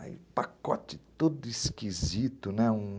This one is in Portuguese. Aí, pacote todo esquisito, né? um...